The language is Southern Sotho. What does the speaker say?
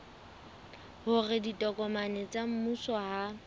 hore ditokomane tsa mmuso ha